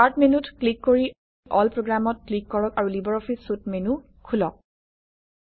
start মেনুত click কৰি এল Programত ক্লিক কৰক আৰু লিবাৰঅফিছ চুইট মেনু খোলক